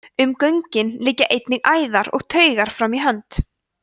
um göngin liggja einnig æðar og taugar fram í hönd